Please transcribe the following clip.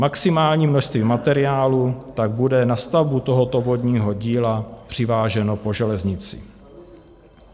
Maximální množství materiálu tak bude na stavbu tohoto vodního díla přiváženo po železnici.